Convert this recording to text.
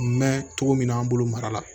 Mɛn cogo min na an bolo mara la